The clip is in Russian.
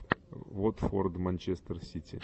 вот форд манчестер сити